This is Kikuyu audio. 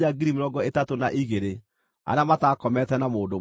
na kuuma harĩ icio Jehova akĩrutĩrwo ngʼondu 675;